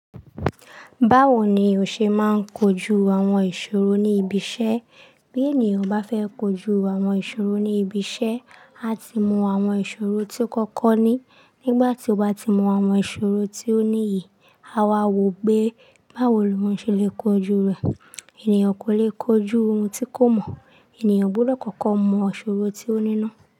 Báwo ni o ṣe ń máa kojú àwọn ìṣòro ní ibi iṣẹ́. Bí ènìyàn bá fẹ́ kojú àwọn ìṣòro ní ibi iṣẹ́, a ti mọ àwọn ìṣòro tí o kọ́kọ́ ní. Nígbà tí o bá ti mọ àwọn ìṣòro tí o níyi, a wà wò pé báwo ni ohun ṣe lè kojú rẹ̀. Ènìyàn kò lè kojú ohun tí kò mọ̀, ènìyàn gbúdọ̀ kọ́kọ́ mọ ìṣòro tí o ní ná.